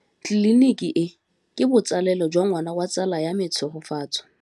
Tleliniki e, ke botsalêlô jwa ngwana wa tsala ya me Tshegofatso.